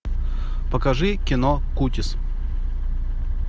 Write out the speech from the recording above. покажи кино кутис